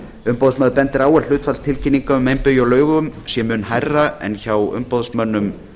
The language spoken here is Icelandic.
umboðsmaður bendir á að hlutfall tilkynninga um meinbugi á lögum sé mun hærra en hjá umboðsmönnum